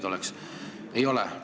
Ei ole!